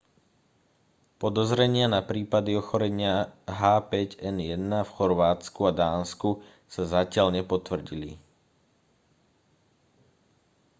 podozrenia na prípady ochorenia h5n1 v chorvátsku a dánsku sa zatiaľ nepotvrdili